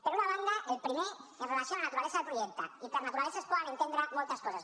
per una banda el primer amb relació a la naturalesa del projecte i per naturalesa es poden entendre moltes coses